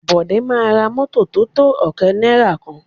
Bọ̀dé máa ra mọ́tọ̀ tótó ọ̀kẹ́ náìrà kan.